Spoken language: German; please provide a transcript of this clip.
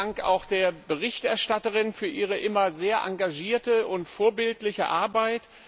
Vielen Dank auch der Berichterstatterin für ihre immer sehr engagierte und vorbildliche Arbeit.